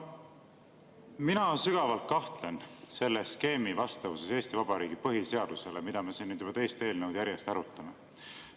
Mina sügavalt kahtlen, et see skeem, mida me siin nüüd juba teist eelnõu järjest arutame, on vastavuses Eesti Vabariigi põhiseadusega.